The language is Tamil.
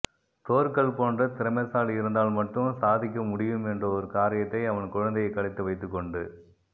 தோர்கல் போன்ற திறமைசாலி இருந்தால் மட்டும் சாதிக்க முடியும் என்ற ஒரு காரியத்தை அவன் குழந்தையை கடத்தி வைத்துக்கொண்டு